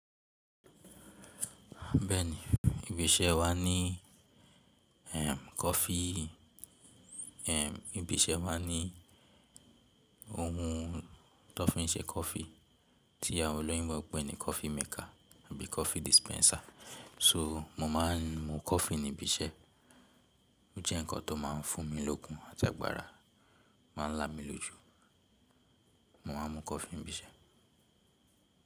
Bẹ́ẹ̀ni, ibi iṣẹ́ wa ní ehn coffee ehn ibi iṣẹ́ máa ní ohun tó fi ń ṣe coffee tí àwọn olóyinbo pè ní coffee maker àbí coffee dispenser. So, mo máa ń mu coffee ní ibi iṣẹ́, ó jẹ́ ǹkan tó máa ń fún mi lókun àti agbára, máa ń lá mi lójú. Mo máa ń mu coffee ní ibi iṣẹ́.